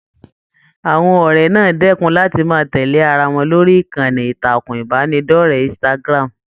Àwọn ọrẹ náà dẹkùn láti máa tẹlé ará wọn lórí ìkànnì ìtàkùn ìbánidọ̀rẹ̀ Instagram.